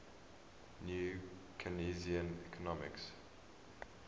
new keynesian economics